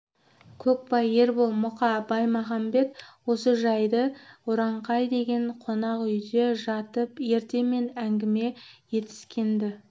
көкбай ербол мұқа баймағамбет осы жайды ұраңқай деген қонақ үйде жатып ертемен әңгіме етіскен-ді